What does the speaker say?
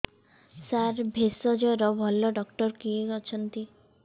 ସାର ଭେଷଜର ଭଲ ଡକ୍ଟର କିଏ ଅଛନ୍ତି